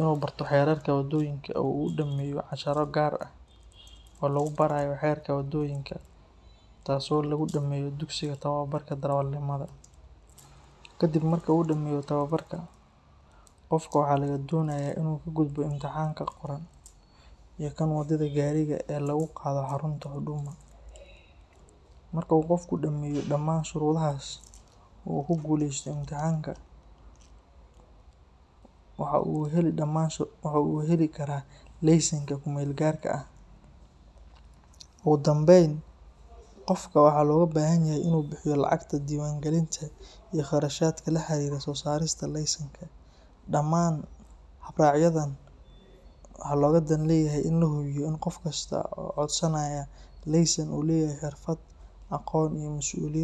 inuu barto xerarka wadoyinka, kadib waa inuu ka gudbo imtixaanka, mar uu dameeyo, waxaa uu heli karaa midka kumeel gaarka ah, waa inuu bixiyo lacagta, damaan waxa looga dan leyahay in lahubiyo inuu leyahay masuuliyad.